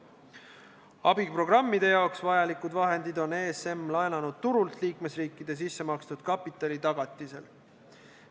Abiprogrammideks vajalikud vahendid on ESM laenanud turult liikmesriikide sissemakstud kapitali tagatisel.